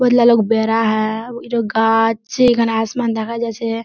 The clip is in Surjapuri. बोहोतला लोक बेरा हैं इरा गाछ छे इखान आसमान देखा जाछे।